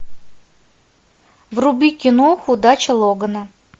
вруби кино удача логана